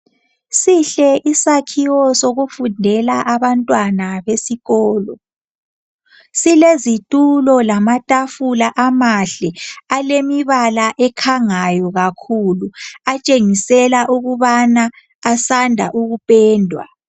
Sihle isakhiwo sokufundela abantwana esikolo, silezitulo lamabala amahle alemibala akhangayo kakhulu atshengisela ukubana asanda ukupendwa